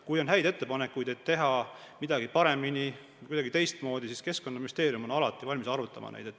Kui on häid ettepanekuid, kuidas teha midagi paremini või teistmoodi, siis Keskkonnaministeerium on alati valmis neid arutama.